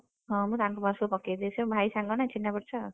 ହଁ ମୁଁ ତାଙ୍କ ପାଖରେ ସବୁ ପକେଇ ଦିଏ ସିଏ ମୋ ଭାଇ ସାଙ୍ଗନା ଚିହ୍ନା ପରିଚୟ।